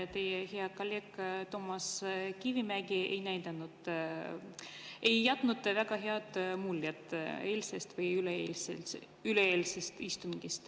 Teie hea kolleeg Toomas Kivimägi ei jätnud väga head muljet eilsel või üleeilsel istungil.